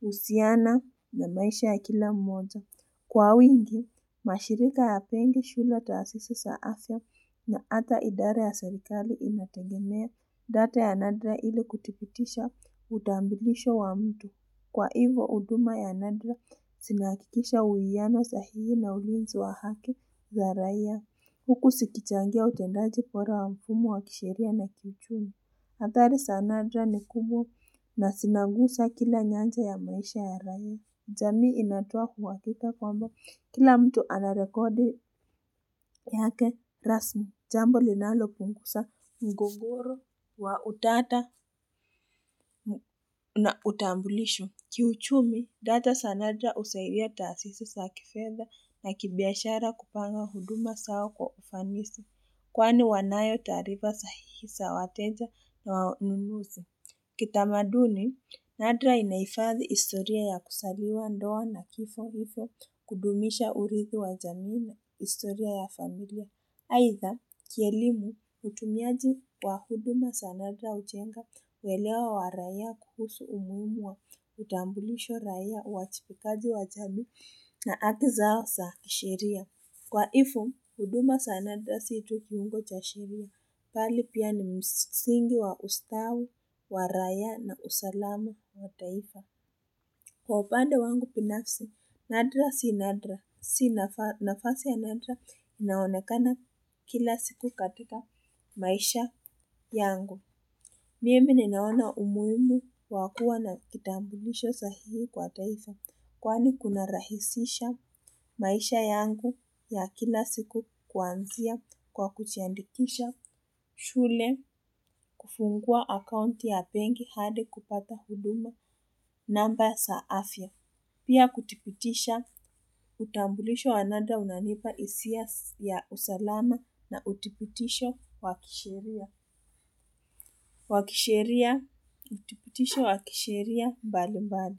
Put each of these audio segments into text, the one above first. husiana na maisha ya kila mmoja. Kwa wingi, mashirika hayapendi shule, taasisi sa afya na hata idara ya serikali inategemea data ya nadra ili kuthipitisha utambilisho wa mtu. Kwa hivo huduma ya nadra, sinahakikisha uwiano sahihi na ulinzi wa haki ya raia. Huku sikichangia utendaji pora wa mfumo wa kisheria na kiuchumi. Athari sa nadra ni kubwa na sinangusa kila nyanja ya maisha ya raia. Jamii inatoa uhakika kwamba kila mtu anarekodi yake rasmi. Jambo linalopungusa mgogoro wa utata na utambulisho. Kiuchumi, data sa nadra husaidia taasisi sa kifedha na kibiashara kupanga huduma sao kwa ufanisi. Kwani wanayo taarifa sahihi sa wateja na wanunuzi. Kitamaduni, nadra inahifadhi historia ya kusaliwa ndoa na kifo ifo kudumisha uridhi wa jamii na historia ya familia. Aidha, kielimu, utumiaji wa huduma sa nadra hujenga uelewa wa raia kuhusu umuhimu wa utambulisho raia, uachipikaji wa jamii na haki zao za kisheria. Kwa ifo, huduma sa nadra si tu kiungo cha sheria, pali pia ni msingi wa ustawi wa raia na usalamu wa taifa. Kwa upande wangu pinafsi, nadra si nadra, si nafasi ya nadra, inaonekana kila siku katika maisha yangu. Mimi ninaona umuhimu wa kuwa na kitambulisho sahihi kwa taifa, kwani kunarahisisha maisha yangu ya kila siku kuanzia kwa kuchiandikisha shule kufungua akaunti ya pengi hadi kupata huduma namba sa afya. Pia kuthipitisha utambulisho wa nadra unanipa hisia ya usalama na uthipitisho wa kisheria. Wakisheria, uthipitisho wa kisheria mbali mbali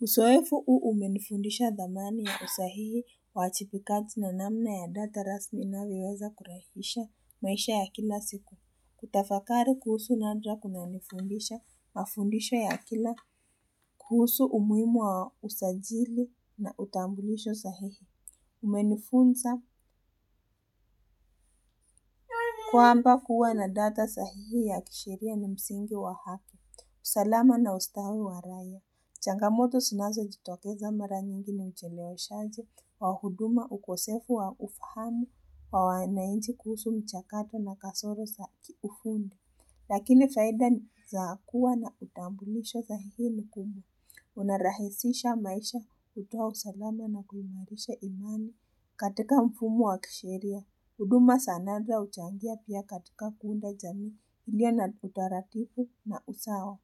usoefu uu umenifundisha dhamani ya usahihi uajipikaji na namna ya data rasmi inavyoweza kurahisha maisha ya kila siku. Kutafakari kuhusu nadra kunanifundisha mafundisha ya kila, kuhusu umuhimu wa usajili na utambulisho sahihi. Umenifunza kwamba kuwa na data sahihi ya kisheria ni msingi wa afya usalama na ustawi wa raia. Changamoto sinazojitokeza mara nyingi ni ucheleweshaji wa huduma, ukosefu wa ufahamu wa wananchi kuhusu mchakato na kasoro za kiuhuni. Lakini faida ni za kuwa na utambulisho sahihi ni ku. Unarahisisha maisha, kutoa usalama na kuimarisha imani katika mfumo wa kisheria. Huduma sa nadra huchangia pia katika kuunda jamii iliyo na utaratipu na usawa.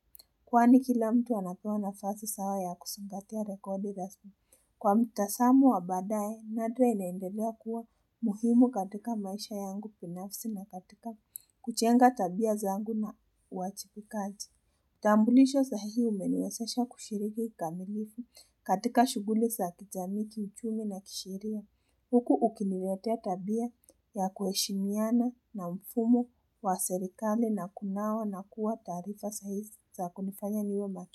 Kwani kila mtu anapewa nafasi sawa ya kusingatia rekodi rasmi. Kwa mtasamo wa baadaye, nadra inaendelea kuwa muhimu katika maisha yangu pinafsi na katika kuchenga tabia zangu na uachipikaji. Tambulisho sahihi umeniwezasha kushiriki kamilifu katika shughuli za kijamii, kiuchumi na kisheria. Huku ukiniletea tabia ya kuheshimiana na mfumo wa serikali na kunawa na kuwa taarifa sahihi za kunifanya niwe macho.